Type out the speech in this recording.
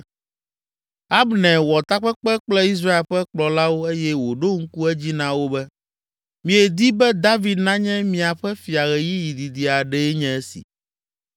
Abner wɔ takpekpe kple Israel ƒe kplɔlawo eye wòɖo ŋku edzi na wo be, “Miedi be David nanye miaƒe fia ɣeyiɣi didi aɖee nye esi.”